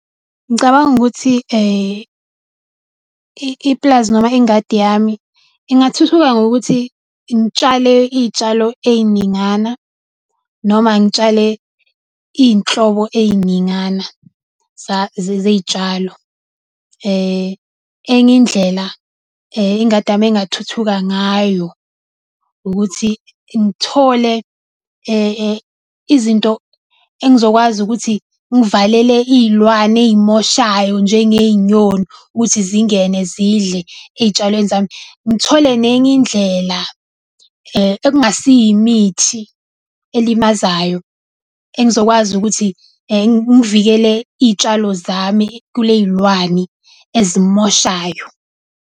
Ngicabanga ukuthi ipulazi noma ingadi yami ingathuthuka ngokuthi ngitshalile iy'tshalo ey'ningana noma ngitshale iy'nhlobo ey'ningana zey'tshalo . Enye indlela ingadi yami engathuthuka ngayo, ukuthi ngithole izinto engizokwazi ukuthi ngivalele iy'lwane ey'moshayo njengey'nyoni ukuthi zingene zidle ey'tshalweni zami. Ngithole nenye indlela ekungasiyo imithi elimazayo engizokwazi ukuthi ngivikele iy'tshalo zami kuley'lwani ezimoshayo.